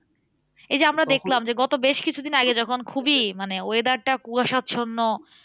এই যে আমরা দেখলাম যে, গত বেশ কিছু দিন আগে যখন খুবই মানে weather টা কুয়াশাচ্ছন্ন।